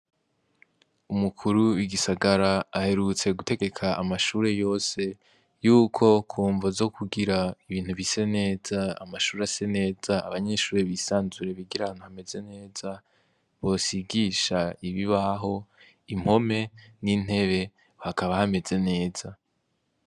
Umukuru w'igisagara aherutse gutegeka amashure yose yuko ku mvo zo kugira ibintu bise neza, amashure ase neza, abanyeshure bisanzure bigire ahantu hameze neza, bosigisha ibibaho, impome n'intebe hakaba hameze neza.